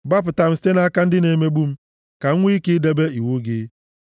Gbapụta m site nʼaka ndị na-emegbu m, ka m nwee ike debe iwu gị.